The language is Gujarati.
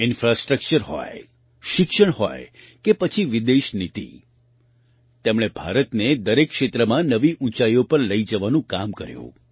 ઇન્ફ્રાસ્ટ્રક્ચર હોય શિક્ષણ હોય કે પછી વિદેશ નીતિ તેમણે ભારતને દરેક ક્ષેત્રમાં નવી ઊંચાઈઓ પર લઈ જવાનું કામ કર્યું